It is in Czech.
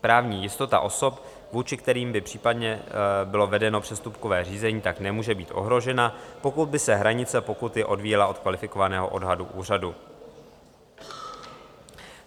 Právní jistota osob, vůči kterým by případně bylo vedeno přestupkové řízení, tak nemůže být ohrožena, pokud by se hranice pokuty odvíjela od kvalifikovaného odhadu úřadu.